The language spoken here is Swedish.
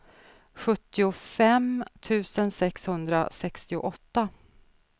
sjuttiofem tusen sexhundrasextioåtta